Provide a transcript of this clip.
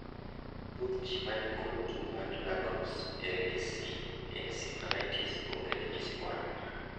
Thoth ji manikod tuo mar La Crosse (LAC) encephalitis onge ranyisi mora mora.